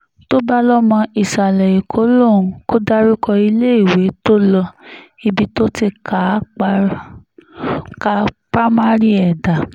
tó bá lọ́mọ ìsàlẹ̀-ẹ̀kọ́ lòun kò dárúkọ iléèwé tó lo ibi tó ti ká pa mari ẹ̀ dá